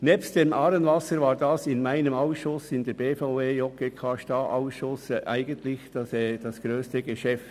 Nebst dem «Aarewasser» war dies für mich als Präsident des Ausschusses BVE/JGK/STA eigentlich das grösste Geschäft.